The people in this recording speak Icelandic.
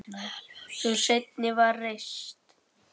Sú seinni var reist